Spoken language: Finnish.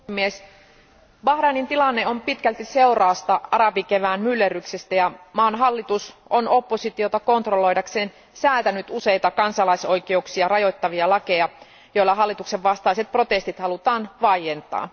Arvoisa puhemies, Bahrainin tilanne on pitkälti seurausta arabikevään myllerryksistä ja maan hallitus on oppositiota kontrolloidakseen säätänyt useita kansalaisoikeuksia rajoittavia lakeja, joilla hallituksen vastaiset protestit halutaan vaientaa.